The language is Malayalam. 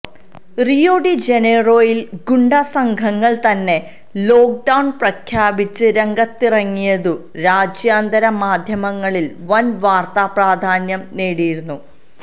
റിയോ ഡി ജനീറോയിൽ ഗുണ്ടാ സംഘങ്ങൾ തന്നെ ലോക്ഡൌൺ പ്രഖ്യാപിച്ച് രംഗത്തിറങ്ങിയതു രാജ്യാന്തര മാധ്യമങ്ങളിൽ വൻ വാർത്താപ്രാധാന്യം നേടിയിരുന്നു